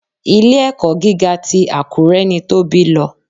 Ilé-ẹ̀kọ́ gíga ti Àkúré ni Tóbi lọ.